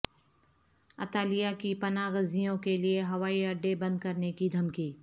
اطالیہ کی پناہ گزینوں کیلئے ہوائی اڈے بند کرنے کی دھمکی